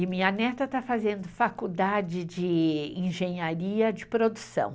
E minha neta está fazendo faculdade de engenharia de produção.